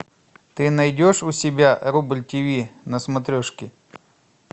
ты найдешь у себя рубль тиви на смотрешке